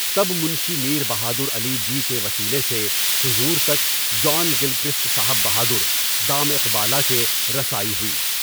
تب منشی میر بہادر علی جی کے وسیلے سے، حضور تک، جان گلکرسٹ صاحب بہادر (دامِ اقبالہ) کے، رسائی ہوئی۔